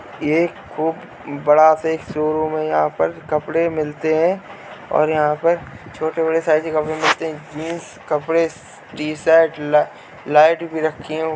ये खूब बड़ा-सा शोरूम है। यहाँ पर कपड़े मिलते हैं और यहाँ पर छोटे-बड़े साइज़ के कपड़े मिलते हैं। जीन्स कपड़े टी-शर्ट लाइट भी रखी हुई --